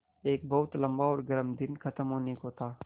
एक बहुत लम्बा और गर्म दिन ख़त्म होने को था